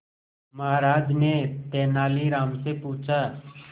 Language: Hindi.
महाराज ने तेनालीराम से पूछा